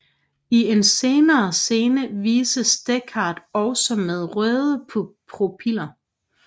I en senere scene vises Deckard også med røde pupiller